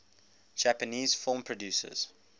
japanese film producers